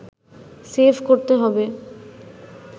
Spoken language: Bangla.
সেভ করতে হবে